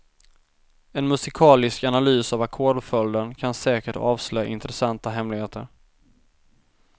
En musikalisk analys av ackordföljden kan säkert avslöja intressanta hemligheter.